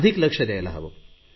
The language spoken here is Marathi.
अधिक लक्ष द्यायला हवे